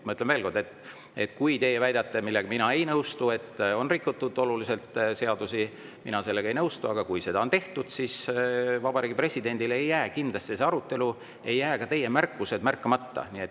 Ma ütlen veel kord, et kui teie väidate, et on rikutud olulisel määral seadusi – mina sellega ei nõustu, aga kui seda on tehtud –, siis Vabariigi Presidendile ei jää kindlasti see arutelu ja teie märkused märkamata.